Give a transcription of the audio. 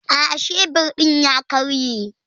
Aa, shebir din ya karye.